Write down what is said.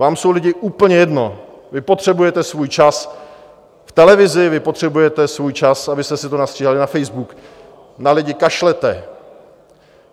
Vám jsou lidi úplně jedno, vy potřebujete svůj čas v televizi, vy potřebujete svůj čas, abyste si to nastříhali na Facebook, na lidi kašlete.